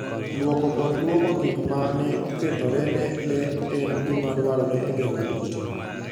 Lwoko kod lwoko gik ma ne okethore ne le en gima dwarore e geng'o kute.